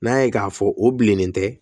N'an y'a ye k'a fɔ o bilennen tɛ